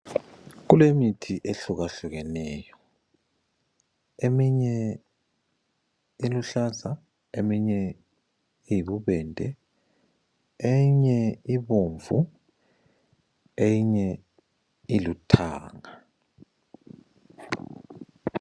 Kulemithi ehlukehlukeneyo . Eminye iluhlaza, eminye iyibubende, eyinye ibomvu eyinye ilithanga.